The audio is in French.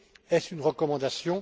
Est ce une recommandation?